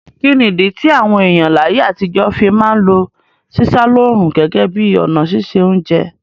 Kíni ìdí ti àwon èyàn láyé àtijọ́ fi ma n lo sísá lóòrùn gẹ́gẹ́ bi ọ̀nà sise ounje